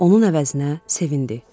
Onun əvəzinə sevindi.